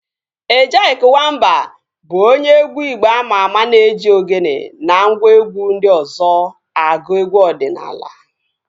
Ejyk Wamba bụ onye egwu igbo ama ama na-eji ogene na ngwa egwu ndị ọzọ agụ egwu ọdịnala